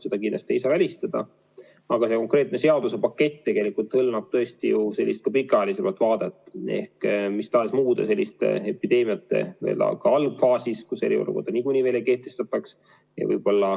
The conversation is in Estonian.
Seda kindlasti ei saa välistada, aga see konkreetne seadusepakett tegelikult ju hõlmab tõesti ka sellist pikaajalisemat vaadet, ehk mis tahes muude epideemiate algfaasis, kus eriolukorda niikuinii veel ei kehtestataks.